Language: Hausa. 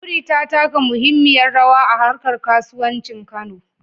Wuri ta taka muhimmiyar rawa a harkar kasuwancin Kano.